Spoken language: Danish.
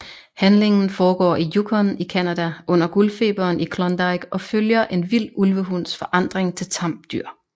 Handlingen foregår i Yukon i Canada under Guldfeberen i Klondike og følger en vild ulvehunds forandring til tamt dyr